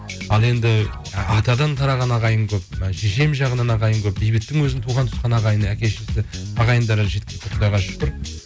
ал енді атадан тараған ағайын көп і шешем жағынан ағайын көп бейбіттің өзінің туған туысқан ағайыны әке шешесі ағайындары жеткілікті құдайға шүкір